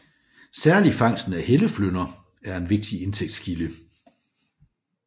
Særlig fangsten af helleflynder er en vigtig indtægtskilde